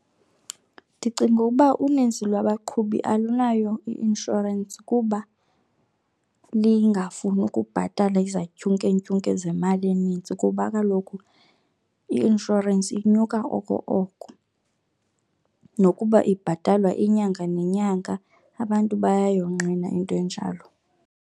Ndicinga uba uninzi lwabaqhubi alunayo i-inshorensi kuba lingafuni ukubhatala izantyukentyuke zemali enintsi kuba kaloku i-inshorensi inyuka oko oko, nokuba ibhatalwa inyanga nenyanga abantu bayayonqena into enjalo.